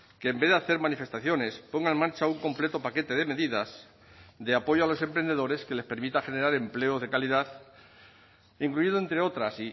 que en vez de hacer manifestaciones ponga en marcha un completo paquete de medidas de apoyo a los emprendedores que les permita generar empleo de calidad incluido entre otras